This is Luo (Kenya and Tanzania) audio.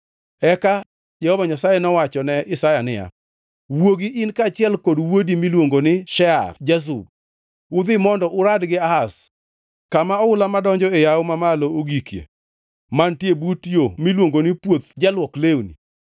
Eka Jehova Nyasaye nowachone Isaya niya, “Wuogi in kaachiel gi wuodi miluongo ni Shear-Jashub udhi mondo urad gi Ahaz kama oula madonjo e yawo mamalo ogikie mantie but yo miluongo ni Puoth Jaluok lewni.